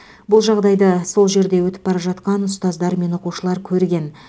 бұл жағдайды сол жерден өтіп бара жатқан ұстаздар мен оқушылар көрген